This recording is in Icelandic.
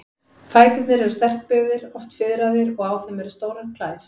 Fæturnir eru sterkbyggðir, oft fiðraðir, og á þeim eru stórar klær.